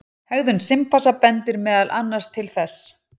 Hegðun simpansa bendir meðal annars til þess.